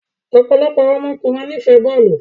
Ọpọlọpọ awọn ọkunrin nifẹ bọọlu